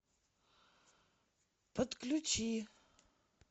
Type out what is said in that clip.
подключи